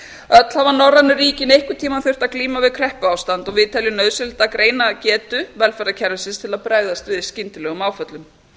öll hafa norrænu ríkin einhvern tíma þurft að glíma við kreppuástand og við teljum nauðsynlegt að greina að getu velferðarkerfisins til að bregðast við skyndilegum áföllum